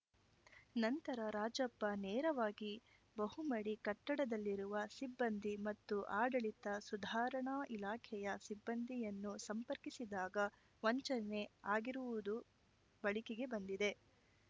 ನಂತರ ರಾಜಪ್ಪ ನೇರವಾಗಿ ಬಹುಮಡಿ ಕಟ್ಟಡದಲ್ಲಿರುವ ಸಿಬ್ಬಂದಿ ಮತ್ತು ಆಡಳಿತ ಸುಧಾರಣಾ ಇಲಾಖೆಯ ಸಿಬ್ಬಂದಿಯನ್ನು ಸಂಪರ್ಕಿಸಿದಾಗ ವಂಚನೆ ಆಗಿರುವುದು ಬೆಳಕಿಗೆ ಬಂದಿದೆ